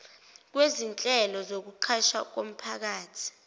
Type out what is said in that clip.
kwezinhlelo zokuqashwa komphakathi